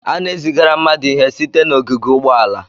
A na-ezigara mmadụ ihe site n'ogige ụgbọala.